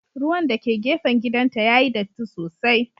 Ruwan dake gefen gidanta yayi datti sosai.